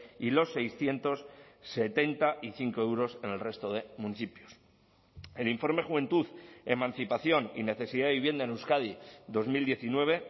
y los seiscientos setenta y cinco euros en el resto de municipios el informe juventud emancipación y necesidad de vivienda en euskadi dos mil diecinueve